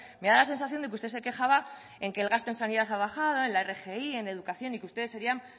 me da la sensación de que usted se quejaba en que el gasto en sanidad ha bajado en la rgi en educación y que ustedes serían